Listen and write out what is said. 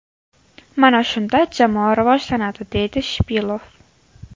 Mana shunda jamoa rivojlanadi”, deydi Shipilov.